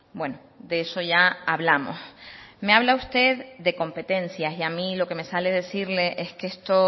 bueno de eso ya hablamos me habla usted de competencias y a mí lo que me sale decirle es que esto